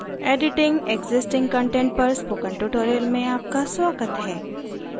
editing existing content पर spoken tutorial में आपका स्वागत है